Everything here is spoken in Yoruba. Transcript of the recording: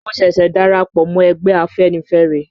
Mo ṣẹ̀ṣẹ̀ darapọ̀ mọ́ ẹgbẹ́ Afẹ́nifẹ́re